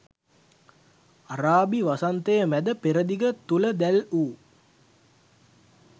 අරාබි වසන්තය මැද පෙරදිග තුළ දැල් වූ